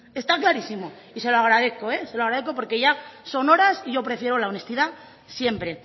está clarísimo y se lo agradezco eh se lo agradezco porque ya son horas y yo prefiero la honestidad siempre